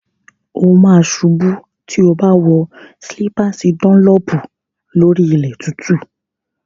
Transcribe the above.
O ma ṣubú tí o bá wọ slípàsì dọ́nlọ̀pù lórí ilẹ̀ tútù.